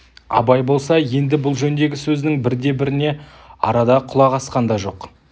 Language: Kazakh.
абай болса енді бұл жөндегі сөздің бірде-біріне арада құлақ асқан да жоқ